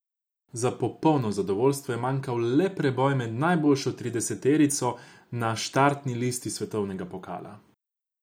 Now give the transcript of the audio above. Za popolno zadovoljstvo je manjkal le preboj med najboljšo trideseterico na štartni listi svetovnega pokala.